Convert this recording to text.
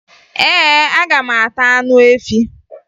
Ee, aga m ata anụ efi